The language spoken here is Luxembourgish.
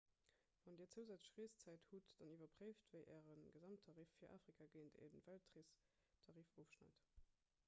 wann dir zousätzlech reeszäit hutt dann iwwerpréift wéi äre gesamttarif fir afrika géint e weltreestarif ofschneit